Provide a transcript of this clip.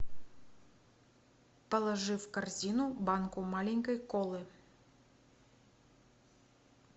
положи в корзину банку маленькой колы